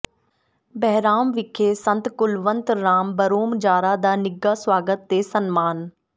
ਬਹਿਰਾਮ ਵਿਖੇ ਸੰਤ ਕੁਲਵੰਤ ਰਾਮ ਭਰੋਮਜਾਰਾ ਦਾ ਨਿੱਘਾ ਸਵਾਗਤ ਤੇ ਸਨਮਾਨ